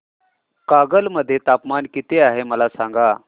कागल मध्ये तापमान किती आहे मला सांगा